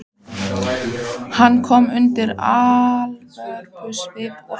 Hann kom undan alvörusvipnum og hló.